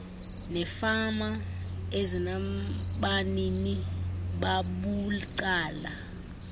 neefama ezinabanini babucala